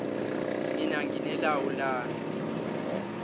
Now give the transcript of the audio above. mina ngine lawu lami